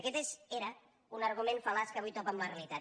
aquest era un argument fal·laç que avui topa amb la realitat